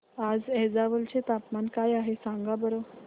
आज ऐझवाल चे तापमान काय आहे सांगा बरं